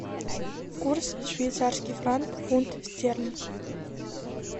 курс швейцарский франк фунт стерлинг